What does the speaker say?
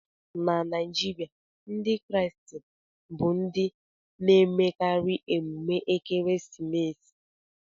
Na Naijiria, Ndị Kraịst bu ndị na-emekarị emume ekeresimesi